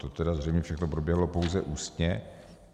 To tedy zřejmě všechno proběhlo pouze ústně.